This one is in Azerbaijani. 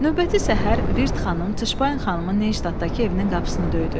Növbəti səhər Virt xanım Tışbayın xanımın Neyştatdakı evinin qapısını döydü.